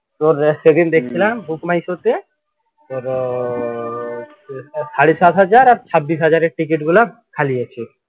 তোর সেদিন দেখছিলাম book my show তে সাড়ে সাত হাজার আর ছাব্বিশ হাজারের ticket গুলা খালি আছে।